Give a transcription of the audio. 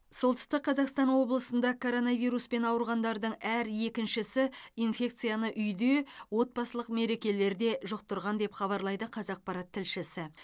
солтүстік қазақстан облысында коронавируспен ауырғандардың әр екіншісі инфекцияны үйде отбасылық мерекелерде жұқтырған деп хабарлайды қазақпарат тілшісі